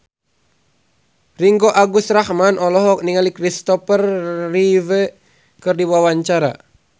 Ringgo Agus Rahman olohok ningali Christopher Reeve keur diwawancara